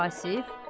Vasif.